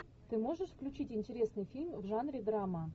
ты можешь включить интересный фильм в жанре драма